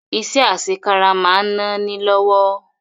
Iṣẹ́ àṣekára máa ń náni lówó